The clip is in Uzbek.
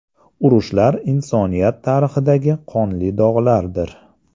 Urushlar insoniyat tarixidagi qonli dog‘lardir.